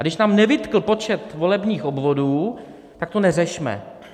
A když nám nevytkl počet volebních obvodů, tak to neřešme.